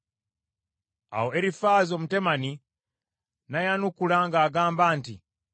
Awo Erifaazi Omutemani n’ayanukula ng’agamba nti,